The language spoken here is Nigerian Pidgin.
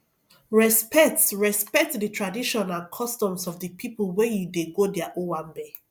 respect respect di tradition and customs of di pipo wey you dey go their owambe